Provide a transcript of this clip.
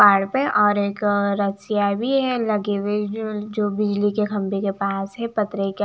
पहाड़ पे और एक रस्सियां भी है लगी हुई जो बिजली के खंबे के पास है पतरे के--